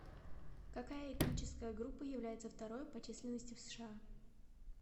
какая этническая группа является второй по численности в сша